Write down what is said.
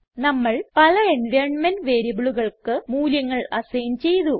നമ്മൾ പല എൻവൈറൻമെന്റ് വേരിയബിളുകൾക്ക് മൂല്യങ്ങൾ അസൈൻ ചെയ്തു